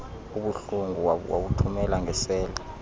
obuhlungu wawuthumela ngeseli